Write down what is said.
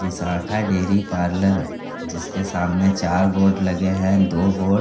Vishakha dairy parlour जिसके सामने चार बोर्ड लगे हैं दो बोर्ड --